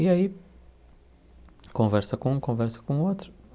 E aí, conversa com um, conversa com outro.